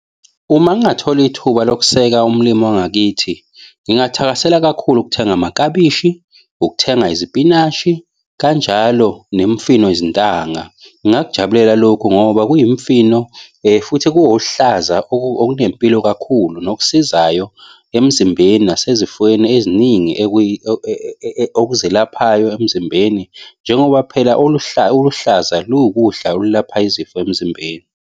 Uma ngingathola ithuba lokuseka umlimi wangakithi, ngingathakasela kakhulu ukuthenga amaklabishi, ukuthenga izipinashi kanjalo nemfino yezintanga. Ngingakujabulela lokhu ngoba kuyimifino, futhi kuwohlaza okunempilo kakhulu nokusizayo emzimbeni nasezifweni eziningi okuzelaphayo emzimbeni. Njengoba phela oluhlaza luwukudla olapha izifo emzimbeni.